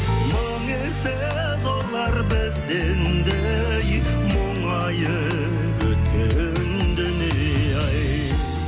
мың есе зорлар бізден де ей мұңайып өткен дүние ай